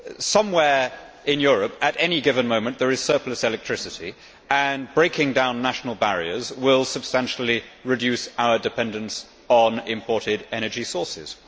Somewhere in Europe, at any given moment, there is surplus electricity, and breaking down national barriers will substantially reduce our dependence on imported energy sources.